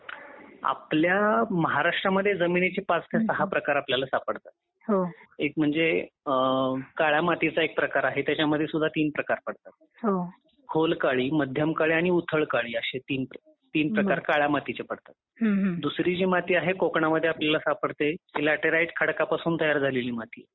आपल्या महाराष्ट्र मध्ये जमिनीचे पाच ते सहा प्रकार आपल्याला सापडतात हो काळा मातीचा एक प्रकार आहे त्यामध्ये सुद्धा तीन प्रकार पडतात. खोल काळी मध्यम काळी उथळ काळी अशी तीन तीन प्रकार काळ्या मातीचे पडतात. दुसरी जी माती आहे ती कोकणामध्ये आपल्याला सापडते ती ल्यातराईट खडक पासून तयार झालेली माती आहे.